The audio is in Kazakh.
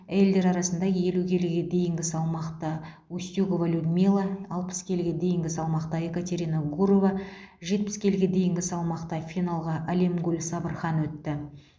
әйелдер арасында елу келіге дейінгі салмақта устюгова людмила алпыс келіге дейінгі салмақта екатерина гурова жетпіс келіге дейінгі салмақта финалға алемгуль сабырхан өтті